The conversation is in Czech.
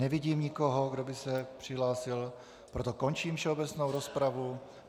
Nevidím nikoho, kdo by se přihlásil, proto končím všeobecnou rozpravu.